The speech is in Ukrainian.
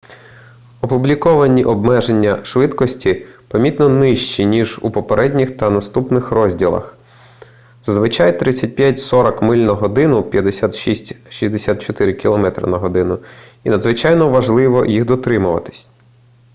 опубліковані обмеження швидкості помітно нижчі ніж у попередніх та наступних розділах — зазвичай 35-40 миль/год 56-64 км/год — і надзвичайно важливо їх дотримуватися